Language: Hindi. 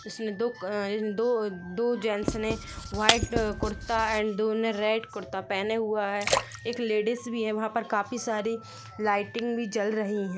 जिसने दो दोदो जेंस ने व्हाइट कुर्ता एंड दो ने रेड पहना हुआ है लेडिज भी है वहा परकाफी सारी लाइटिंग भी जल रही है वहां पर।